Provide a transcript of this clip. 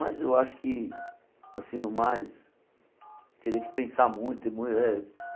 Mas eu acho que, assim no mais, teria que pensar muito e mu eh.